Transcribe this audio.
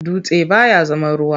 Dutse baya zama ruwa.